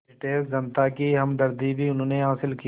British जनता की हमदर्दी भी उन्होंने हासिल की